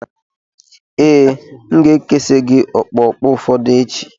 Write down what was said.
Ee, M ga-ekesi gị okpokpo ụfọdụ echi.